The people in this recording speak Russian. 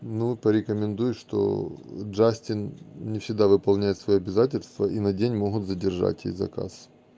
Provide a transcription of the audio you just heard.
ну порекомендуй что джастин не всегда выполняет свои обязательства и на день могут задержать и заказ